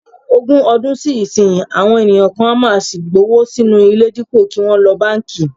Ogún ọdún sí ìsinyìí, àwọn ènìyàn kan á sì máa gbówó sínú ilé dípò kí wọ́n lo báǹkì